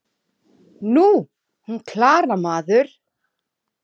Nú, hún Klara, maður!